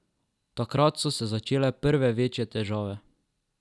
Takrat so se začele prve večje težave.